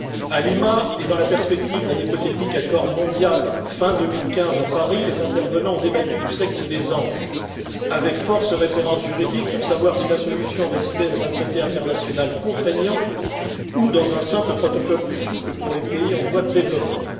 À Lima et dans la perspective d'un hypothétique accord mondial fin 2015 à Paris les intervenants ont débattu du sexe des anges, avec force références juridiques, pour savoir si la solution résidait dans un traité international contraignant ou dans un simple protocole, plus souple pour les pays en voie de développement.